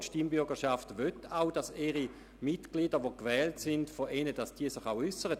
Die Stimmbürgerschaft will, dass sich Politiker, die von ihr gewählt wurden, äussern.